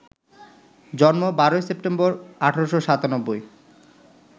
জন্ম ১২ সেপ্টেম্বর, ১৮৯৭